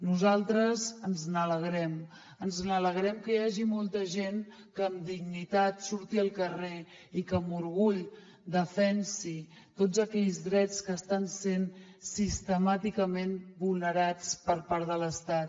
nosaltres ens n’alegrem ens n’alegrem que hi hagi molta gent que amb dignitat surti al carrer i que amb orgull defensi tots aquells drets que estan sent sistemàticament vulnerats per part de l’estat